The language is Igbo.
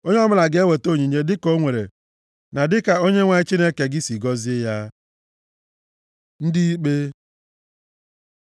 Onye ọbụla ga-eweta onyinye dịka o nwere ike na dịka Onyenwe anyị Chineke gị sị gọzie ya. Ndị ikpe